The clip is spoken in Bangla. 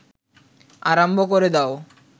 আরম্ভ ক’রে দাও